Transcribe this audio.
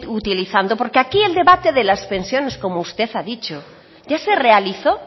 utilizando porque aquí el debate de las pensiones como usted ha dicho ya se realizó